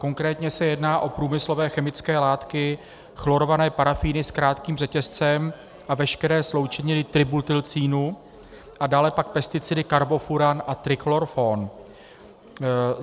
Konkrétně se jedná o průmyslové chemické látky chlorované parafíny s krátkým řetězcem a veškeré sloučeniny tributylcínu a dále pak pesticidy karbofuran a trichlorfon.